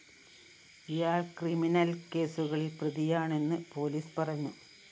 ഇയാള്‍ ക്രിമിനൽ കേസുകളില്‍ പ്രതിയാണെന്നു പോലീസ് പറഞ്ഞു